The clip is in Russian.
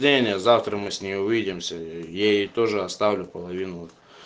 женя завтра мы с ним увидимся ей тоже оставлю половину